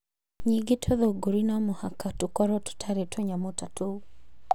Ningĩ tũthũngũri no mũhaka tũkorũo tũtarĩ na tũnyamũ ta tũu.